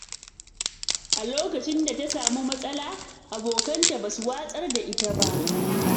A lokacin da ta samu matsala, abokanta ba su watsar da ita ba.